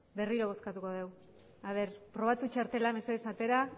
berriro bozkatuko degu probatu txartela mesedez atera